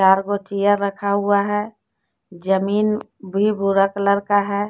चार गो चेयर रखा हुआ है जमीन भी भूरा कलर का है।